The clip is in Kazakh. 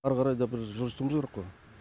әрі қара да біз жылжытуымыз керек қой